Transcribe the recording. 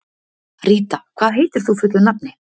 Ríta, hvað heitir þú fullu nafni?